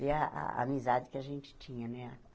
E a a amizade que a gente tinha, né?